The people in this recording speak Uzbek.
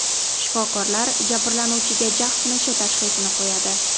Shifokorlar jabrlanuvchiga chag‘ sinishi tashxisini qo‘yadi.